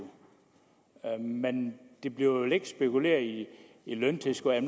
men der bliver vel ikke spekuleret i løntilskud